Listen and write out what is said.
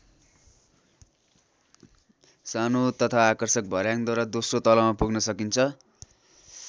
सानो तथा आकर्षक भर्‍याङद्वारा दोस्रो तलामा पुग्न सकिन्छ।